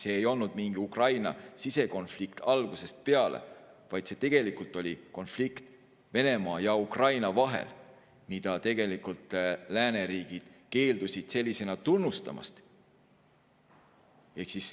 See ei olnud mingi Ukraina sisekonflikt algusest peale, vaid see tegelikult oli konflikt Venemaa ja Ukraina vahel, mida tegelikult lääneriigid keeldusid sellisena tunnistamast.